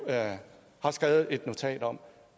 har skrevet et notat om